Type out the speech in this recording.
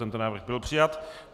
Tento návrh byl přijat.